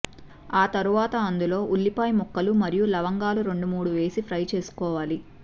తర్వాత అందులో ఉల్లిపాయ ముక్కలు మరియు లవంగాలు రెండు మూడు వేసి ఫ్రై చేసుకోవాలి